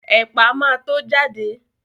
Ẹ̀pà ma tó jáde